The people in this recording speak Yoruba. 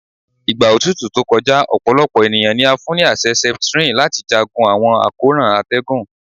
Igba otutu to kọja, ọpọlọpọ eniyan ni a fun ni aṣẹ Septrin lati jagun awọn akoran atẹgun